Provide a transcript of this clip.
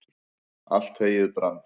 allt heyið brann